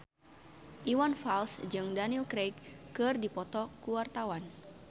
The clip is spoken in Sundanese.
Iwan Fals jeung Daniel Craig keur dipoto ku wartawan